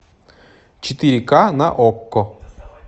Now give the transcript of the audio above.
четыре ка на окко